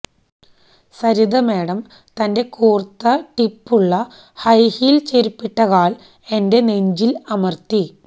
Saritha madam തന്റെ കൂർത്ത ടിപ്പുള്ള ഹൈഹീൽ ചെരുപ്പിട്ട കാൽ എന്റെനെഞ്ചിൽ അമർത്തി